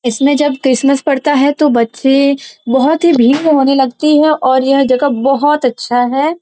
इसमें जब क्रिसमस पड़ता है तो बच्चे बहुत ही भिम्म होने लगते है और यह जगह बहुत अच्छा है|